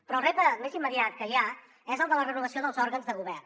però el repte més immediat que hi ha és el de la renovació dels òrgans de govern